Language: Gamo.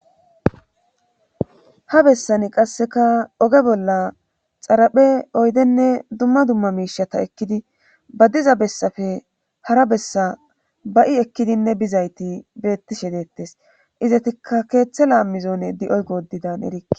ha bessani qasseka oge bolla xaraphe oydenne dumma dumma miishata ekkidi ba diza bessafe hara bessa ba7i ekkidinne bizayti bettishe deettes izatikka keeththe laammizone di7oy goodidan erie